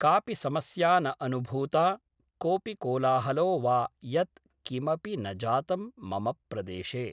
कापि समस्या न अनुभूता कोऽपि कोलाहलो वा यत् किमपि न जातं मम प्रदेशे